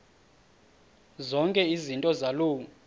zonke izinto zaloo